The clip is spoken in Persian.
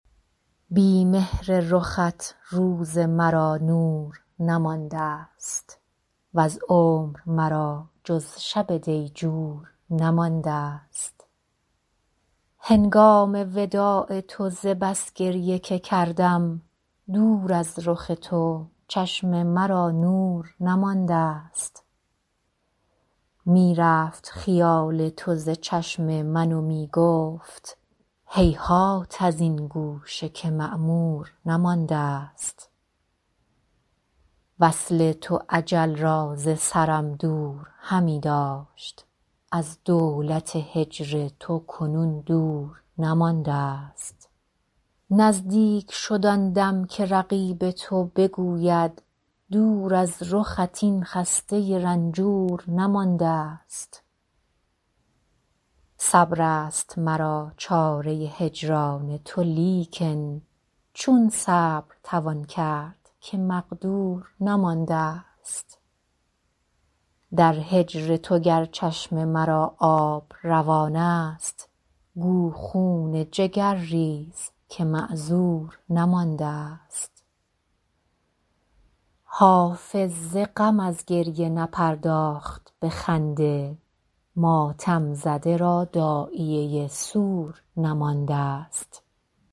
بی مهر رخت روز مرا نور نماندست وز عمر مرا جز شب دیجور نماندست هنگام وداع تو ز بس گریه که کردم دور از رخ تو چشم مرا نور نماندست می رفت خیال تو ز چشم من و می گفت هیهات از این گوشه که معمور نماندست وصل تو اجل را ز سرم دور همی داشت از دولت هجر تو کنون دور نماندست نزدیک شد آن دم که رقیب تو بگوید دور از رخت این خسته رنجور نماندست صبر است مرا چاره هجران تو لیکن چون صبر توان کرد که مقدور نماندست در هجر تو گر چشم مرا آب روان است گو خون جگر ریز که معذور نماندست حافظ ز غم از گریه نپرداخت به خنده ماتم زده را داعیه سور نماندست